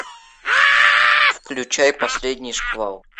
включай последний шквал